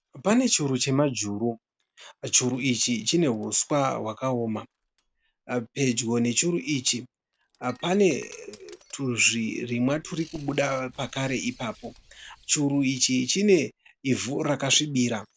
Pane churu chemajuru. Churu ichi chine huswa hwakaoma. Pedyo nechuru ichi pane tuzvirimwa turikubuda pakare ipapo. Churu ichi chine ivhu rakasvibira.